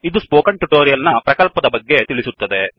ಇದು ಈ spoken tutorial ಪ್ರಕಲ್ಪದ ಬಗ್ಗೆ ತಿಳಿಸುತ್ತದೆ